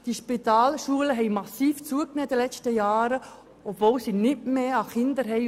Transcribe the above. Die Spitalschulen haben in den vergangenen Jahren massiv zugelegt, obwohl sie nicht mehr Kinder haben.